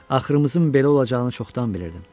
Axırımızın belə olacağını çoxdan bilirdim.